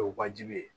O ye wajibi ye